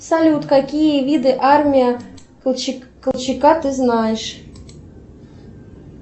салют какие виды армии колчака ты знаешь